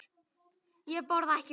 Ég borða ekki snigla.